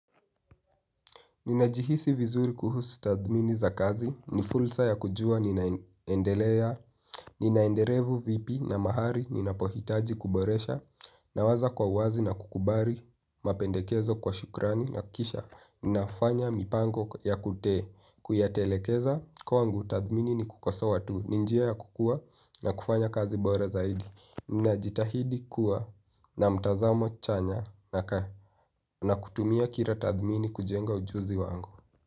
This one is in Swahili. Ninajihisi vizuri kuhusu tathmini za kazi, ni fursa ya kujua, ninaendelea, ninaenderevu vipi na mahali, ninapohitaji kuboresha, nawaza kwa wazi na kukubali, mapendekezo kwa shukrani, na kisha, ninafanya mipango ya kuyatelekeza, kwangu tathmini ni kukosoa tu, ni njia ya kukua, na kufanya kazi bora zaidi, ninajitahidi kuwa, na mtazamo chanya, nakaa, na kutumia kila tathmini kujenga ujuzi wangu.